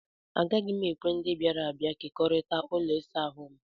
Agaghị m ekwe ndị bịara abịa kekọrịta ụlọ ịsa ahụ m.